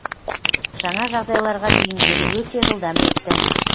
жаңа жағдайларға бейімделу өте жылдам өтті